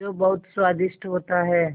जो बहुत स्वादिष्ट होता है